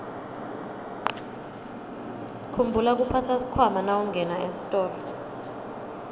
khumbula kuphatsa sikhwama nawungena esitolo